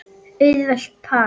Auðvelt par!